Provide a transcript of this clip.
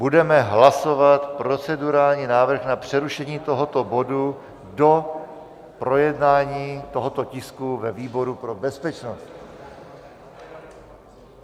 Budeme hlasovat procedurální návrh na přerušení tohoto bodu do projednání tohoto tisku ve výboru pro bezpečnost.